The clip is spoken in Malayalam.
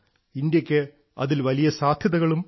ഇന്ത്യയ്ക്ക് അതിൽ വലിയ സാധ്യതകളുണ്ട്